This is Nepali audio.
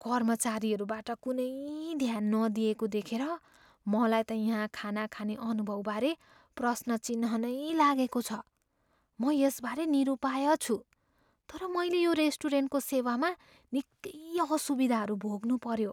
कर्मचारीहरूबाट कुनै ध्यान नदिइएको देखेर मलाई त यहाँ खाना खाने अनुभवबारे प्रश्न चिह्न नै लागेको छ, म यसबारे निरुपाय छु तर मैले यो रेस्टुरेन्टको सेवामा निकै असुविधाहरू भोग्नुपऱ्यो।